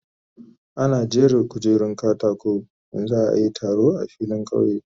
Ana jera kujerun katako in za a yi taro a filin kauye.